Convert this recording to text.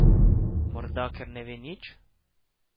Morda, ker ne ve nič?